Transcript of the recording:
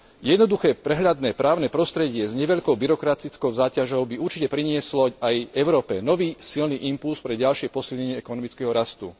Jednoduché prehľadné právne prostredie s neveľkou byrokratickou záťažou by určite prinieslo aj Európe nový silný impulz pre ďalšie posilnenie ekonomického rastu.